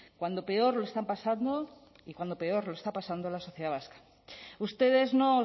cuando peor lo están pasando y cuando peor lo está pasando la sociedad vasca ustedes no